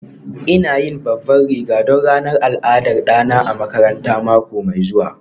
ina yin babban riga don ranar al'adar ɗana a makaranta mako mai zuwa